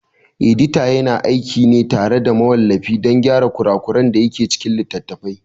Edita yana aiki ne tare da mawallafi don gyara kura kuran dake cikin littafi